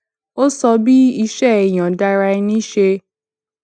ó sọ bí iṣé ìyòǹda ara ẹni ṣe